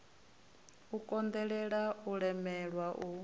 u konḓelwa u lemelwa u